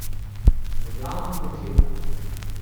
V glavnem dekleta.